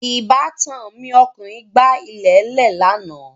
Ìbátan mi ọkùnrin gbà ilẹ̀lẹ́ẹ̀ lánà